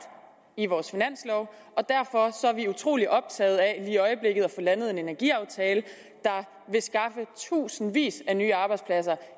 i vores finanslov og derfor er vi utrolig optaget af i øjeblikket at få landet en energiaftale der vil skaffe tusindvis af nye arbejdspladser